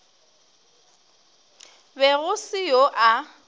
be go se yo a